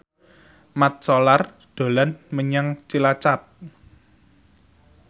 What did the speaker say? Mat Solar dolan menyang Cilacap